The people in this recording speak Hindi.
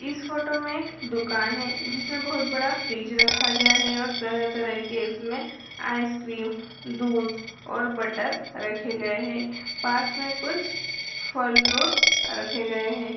इस फोटो में एक दुकान है जिसमे बहुत बड़ा फ्रिज रखा गया है और तरह-तरह के इसमें आइस क्रीम दूध और बटर रखे गए हैं। पास मे कुछ फल फ्रूट रखे गए हैं।